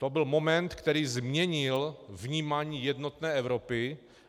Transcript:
To byl moment, který změnil vnímání jednotné Evropy.